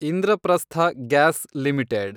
Indraprastha gas limited